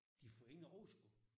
De får ingen overskud